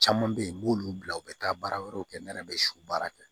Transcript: Caman bɛ yen n b'olu bila u bɛ taa baara wɛrɛw kɛ ne yɛrɛ bɛ su baara kɛ